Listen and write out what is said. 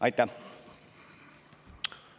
Aitäh!